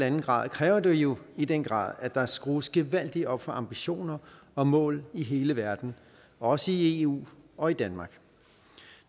en grad kræver det jo i den grad at der skrues gevaldigt op for ambitioner og mål i hele verden også i eu og i danmark